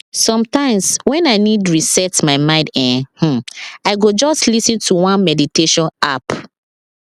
sometimes when i need reset my mind[um][um] i go just lis ten to one meditation app